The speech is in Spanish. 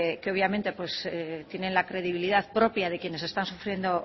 que obviamente pues tienen la credibilidad propia de quienes están sufriendo